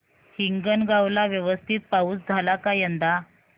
हिंगणगाव ला व्यवस्थित पाऊस झाला का यंदा